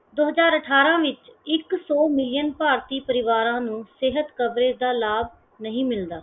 ਦੋ ਹਜਾਰ ਅਠਾਰਾਂ ਵਿਚ ਇੱਕ ਸੋ million ਭਾਰਤੀ ਪਰਿਵਾਰਾਂ ਨੂੰ ਸਿਹਤ coverage ਦਾ ਲਾਭ ਨਹੀਂ ਮਿਲਦਾ।